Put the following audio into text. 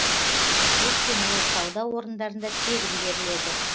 өйткені ол сауда орындарында тегін беріледі